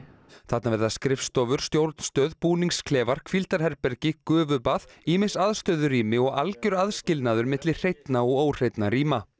þarna verða skrifstofur stjórnstöð búningsklefar hvíldarherbergi gufubað ýmis aðstöðurými og algjör aðskilnaður milli hreinna og óhreinna rýma